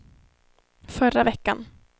förra veckan